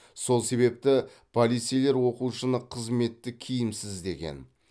сол себепті полицейлер оқушыны қызметтік киімсіз іздеген